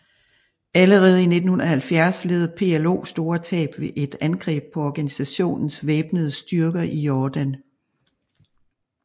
Allerede i 1970 led PLO store tab ved et angreb på organisationens væbnede styrker i Jordan